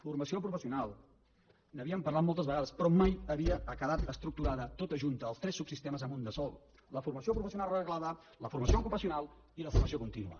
formació professional n’havíem parlat moltes vegades però mai havia quedat estructurada tota junta els tres subsistemes en un de sol la formació professional reglada la formació ocupacional i la formació contínua